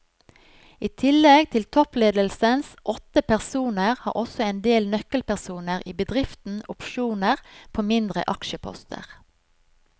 I tillegg til toppledelsens åtte personer har også en del nøkkelpersoner i bedriften opsjoner på mindre aksjeposter.